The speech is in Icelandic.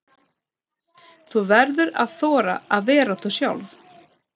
Þú verður að þora að vera þú sjálf.